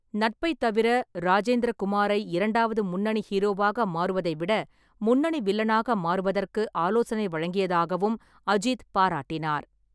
நட்பைத் தவிர, ராஜேந்திர குமாரை இரண்டாவது முன்னணி ஹீரோவாக மாறுவதை விட "முன்னணி வில்லனாக" மாறுவதற்கு ஆலோசனை வழங்கியதாகவும் அஜித் பாராட்டினார்.